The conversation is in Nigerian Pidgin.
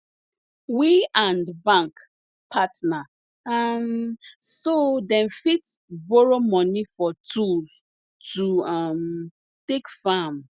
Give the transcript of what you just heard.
we and bank partner um so dem fit borrow money for tools to um take farm